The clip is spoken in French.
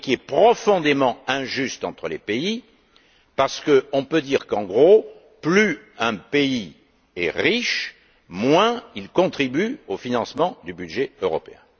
De plus, il est profondément injuste entre les pays parce qu'on peut dire, grosso modo que plus un pays est riche, moins il contribue au financement du budget européen.